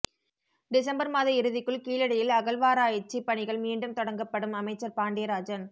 December மாத இறுதிக்குள் கீழடியில் அகழ்வாராய்ச்சி பணிகள் மீண்டும் தொடங்கப்படும் அமைச்சர் பாண்டியராஜன்